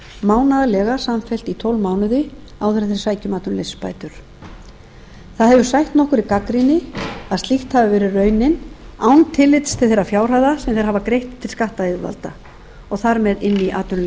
mánaðarlega samfellt í tólf mánuði áður en þeir sækja um atvinnuleysisbætur það hefur sætt nokkurri gagnrýni að slíkt hafi verið raunin án tillits til þeirra fjárhæða sem þeir hafa greitt til skattyfirvalda og þar með inn í atvinnuleysistryggingasjóð jafnframt hefur